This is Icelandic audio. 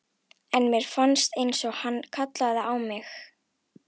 En mér fannst einsog hann kallaði á mig.